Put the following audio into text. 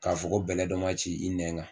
K'a fɔ ko bɛlɛ dɔ ma ci i nɛn kan